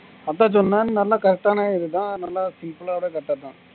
அதான் சொன்னா நல்லா correct ஆனா இது தான் நல்லா simple ஓட காட்டாது